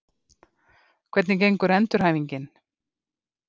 Hvernig gengur endurhæfingin?